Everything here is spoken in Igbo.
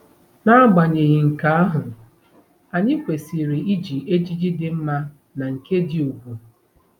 N'agbanyeghị nke ahụ, anyị kwesịrị iji ejiji dị mma na nke dị ùgwù.